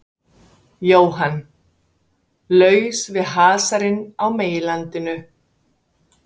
Jóhann: Laus við hasarinn á meginlandinu?